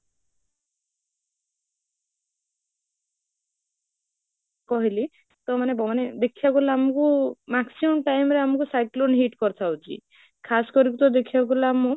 କହିଲି ତ ମାନେ ଦେଖିବାକୁ ଗଲା ଗଲେ ଆମକୁ maximum time ରେ ଆମକୁ cyclone hit କରିଥାଉଛି କରିକି ତ ଦେଖିବାକୁ ଗଲା ବେଳକୁ ଆମକୁ